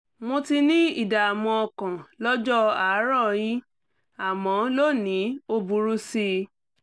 mo ti ní ìdààmú ọkàn lọ́jọ́ àárọ̀yìn àmọ́ lónìí ó burú sí i